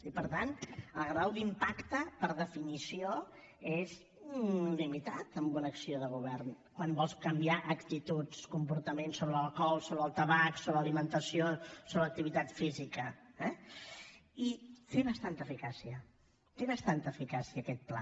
i per tant el grau d’impacte per definició és limitat en una acció de govern quan vols canviar actituds comportaments sobre l’alcohol sobre el tabac sobre l’alimentació sobre l’activitat física eh i té bastanta eficàcia té bastanta eficàcia aquest pla